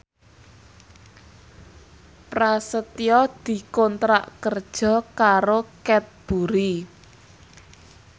Prasetyo dikontrak kerja karo Cadbury